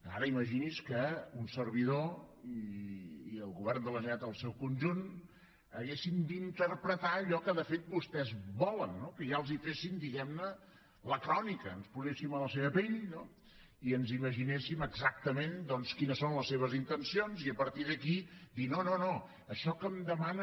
ara imagini’s que un servidor i el govern de la generalitat en el seu conjunt haguéssim d’interpretar allò que de fet vostès volen que ja els féssim diguem ne la crònica ens poséssim a la seva pell i ens imaginéssim exactament quines són les seves intencions i a partir d’aquí dir no no això que em demanen